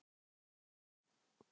Það eru margir góðir.